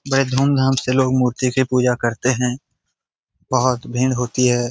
बड़े धूम-धाम से लोग मूर्ति के पूजा करते हैं बहोत भींड़ होती है।